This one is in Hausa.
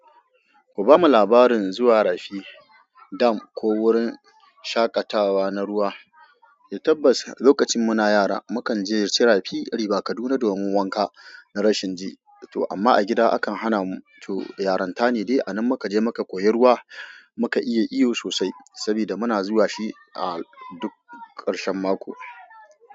Ku bamu labarin zuwa rafi, dam ko wurin shaƙatawa na ruwa. Tabbas, lokacin muna yara, mukan je cira fi a Ribah Kaduna domin wanka na rashin ji, to amma a gida akan hana mu to yaran ta ne dai anan muka je muka koyi ruwa muka iya iyo sosai sabida muna zuwa shi a duk ƙarshen mako.